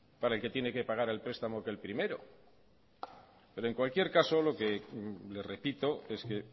para el que tiene que pagar el prestamo que el primero pero en cualquier caso lo que le repito es que